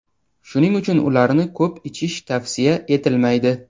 shuning uchun ularni ko‘p ichish tavsiya etilmaydi.